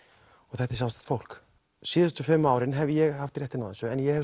þetta er sjálfstætt fólk síðustu fimm árin hef ég haft réttinn á þessu en ég hef